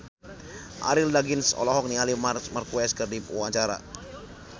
Arie Daginks olohok ningali Marc Marquez keur diwawancara